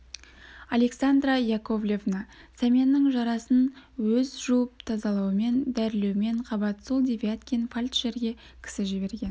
александра яковлевна сәменнің жарасын өз жуып тазалаумен дәрілеумен қабат сол девяткин фельдшерге кісі жіберген